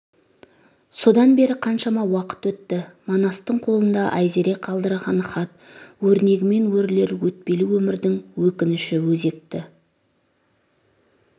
содан бері қаншама уақыт өтті манастың қолында айзере қалдырған хат өрнегімен өрілер өтпелі өмірдің өкініші өзекті